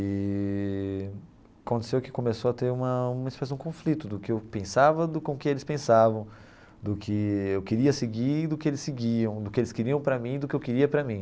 Eee aconteceu que começou a ter uma uma espécie de um conflito do que eu pensava com o que eles pensavam, do que eu queria seguir e do que eles seguiam, do que eles queriam para mim e do que eu queria para mim.